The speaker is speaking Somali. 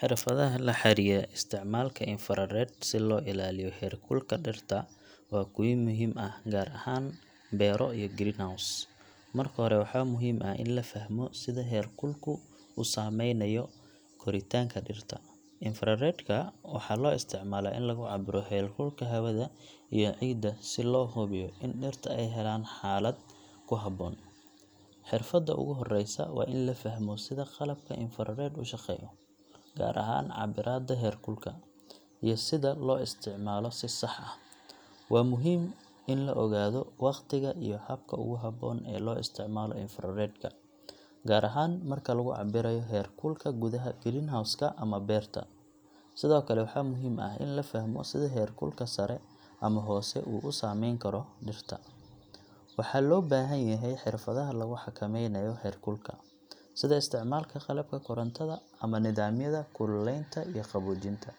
Xirfadaha la xiriira isticmaalka infrared si loo ilaaliyo heerkulka dhirta waa kuwo muhiim ah gaar ahaan beero iyo greenhouse. Marka hore, waxaa muhiim ah in la fahmo sida heerkulku u saameynayo koritaanka dhirta. Infrared ka waxaa loo isticmaalaa in lagu cabbiro heerkulka hawada iyo ciidda si loo hubiyo in dhirta ay helaan xaalad ku habboon. Xirfadda ugu horeysa waa in la fahmo sida qalabka infrared u shaqeeyo, gaar ahaan cabbiraadda heerkulka, iyo sida loo isticmaalo si sax ah. Waa muhiim in la ogaado waqtiga iyo habka ugu habboon ee loo isticmaalo infrared ka, gaar ahaan marka lagu cabbirayo heerkulka gudaha greenhouse ka ama beerta. Sidoo kale, waxaa muhiim ah in la fahmo sida heerkulka sare ama hoose uu u saameyn karo dhirta, waxaana loo baahan yahay xirfadaha lagu xakameynayo heerkulka, sida isticmaalka qalabka korontada ama nidaamyada kuleylinta iyo qaboojinta.